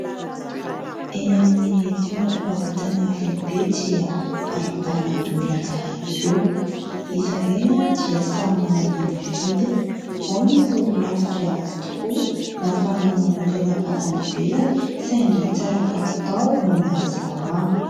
Eny amin'ny toeram-pivarotana lehibe dia ahitana menaka ihany koa, izy ireny dia samy manana ny vidiny, ao ireo lafo dia lafo tokoa, nafarana manokana avy any ivelany saingy tsara kalitao no mahasalama.